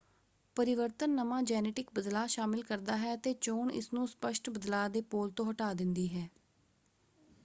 ਪਰਿਵਰਤਨ ਨਵਾਂ ਜੈਨੇਟਿਕ ਬਦਲਾਅ ਸ਼ਾਮਲ ਕਰਦਾ ਹੈ ਅਤੇ ਚੋਣ ਇਸਨੂੰ ਸਪੱਸ਼ਟ ਬਦਲਾਅ ਦੇ ਪੋਲ ਤੋਂ ਹਟਾ ਦਿੰਦੀ ਹੈ।